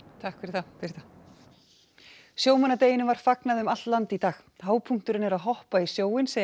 takk fyrir það Birta sjómannadeginum var fagnað um allt land í dag hápunkturinn er að hoppa í sjóinn segja